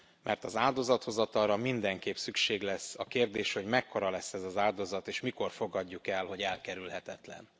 Mert az áldozathozatalra mindenképp szükség lesz, a kérdés, hogy mekkora lesz ez az áldozat és mikor fogadjuk el, hogy elkerülhetetlen.